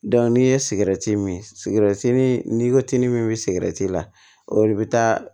n'i ye sigɛrɛti min sigɛrɛti min n'i ko k'i ni min bɛ sigɛrɛti la olu bɛ taa